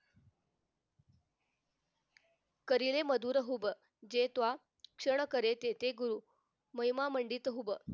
करील मधुर हुब जेतवा क्षण करे ते ते गुरु महिमा मंडित हुब